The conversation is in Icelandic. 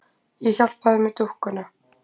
Ég hjálpa þér með dúkkuna.